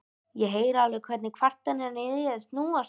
Ég heyri alveg hvernig kvarnirnar í þér snúast.